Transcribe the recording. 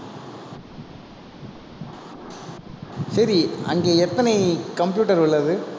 சரி, அங்கே எத்தனை computer உள்ளது